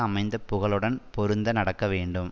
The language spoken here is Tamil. அமைந்த புகழுடன் பொருந்த நடக்க வேண்டும்